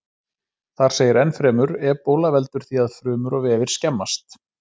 Þar segir ennfremur: Ebóla veldur því að frumur og vefir skemmast.